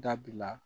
Dabila